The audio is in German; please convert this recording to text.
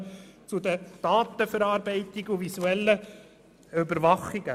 Nun zur Datenverarbeitung und zur visuellen Überwachung: